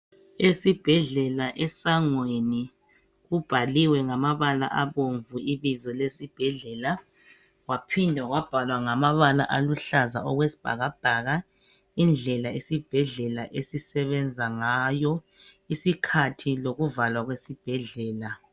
esibhedlela esangweni kubhaliwe esangweni ngamabala abomvu ibizo lesibhedlela kwaphinda kwabhalwa ngamabala aluhlaza okwesibhakabhaka indlela isibhedlela esisebenza ngayo isikhathi lokuvalwa kwesibhedlela